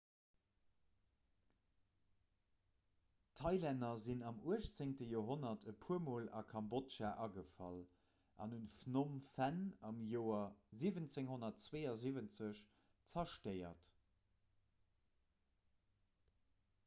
d'thailänner sinn am 18 joerhonnert e puer mol a kambodja agefall an hunn phnom phen am joer 1772 zerstéiert